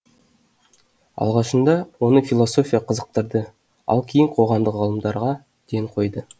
алғашында оны философия қызықтырды ал кейін қоғамдық ғылымдарға ден қойды